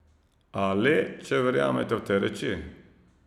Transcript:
A, le če verjamete v te reči.